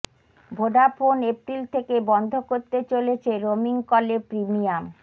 Vodafone April থেকে বন্ধ করতে চলেছে রোমিং কলে প্রিমিয়াম